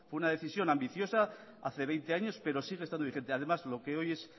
fue una decisión ambiciosa hace veinte años pero sigue estando vigente además lo que hoy es